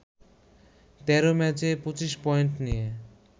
১৩ ম্যাচে ২৫ পয়েন্ট নিয়ে